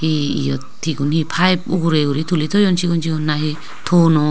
hi iyot igun hi pipe ugurey guri tuli toyon sigon sigon nahi tonno.